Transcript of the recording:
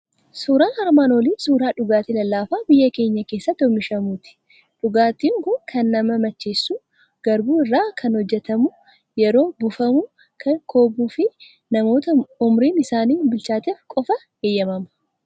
Suuraan armaan olii suuraa dhugaatii lallaafaa biyya keenya keessatti oomishamuuti. Dhugaatiin kun kan nama macheessu, garbuu irraa kan hojjetamu, yeroo buufamu kan kobbuu fi namoota umuriin isaanii bilchaateef qofa eeyyamama.